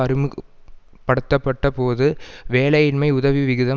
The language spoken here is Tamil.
அறிமுக படுத்த பட்ட போது வேலயின்மை உதவி விகிதம்